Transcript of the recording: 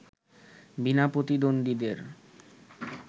বিনা প্রতিদ্বন্দ্বীদের